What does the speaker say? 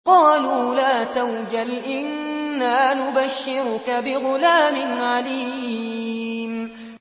قَالُوا لَا تَوْجَلْ إِنَّا نُبَشِّرُكَ بِغُلَامٍ عَلِيمٍ